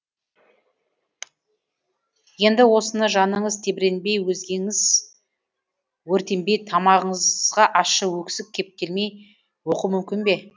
енді осыны жаныңыз тебіренбей өзгеңіз өртенбей тамағыңызға ащы өксік кептелмей оқу мүмкін бе